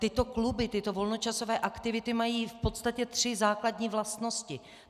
Tyto kluby, tyto volnočasové aktivity mají v podstatě tři základní vlastnosti.